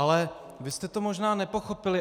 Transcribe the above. Ale vy jste to možná nepochopili.